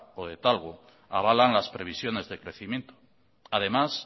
o de talgo avalan las previsiones de crecimiento además